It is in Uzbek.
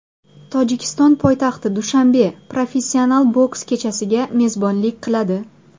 Tojikiston poytaxti Dushanbe professional boks kechasiga mezbonlik qiladi.